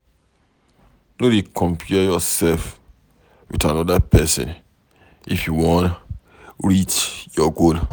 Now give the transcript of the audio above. No dey compare yourself with anoda pesin if you wan reach your goal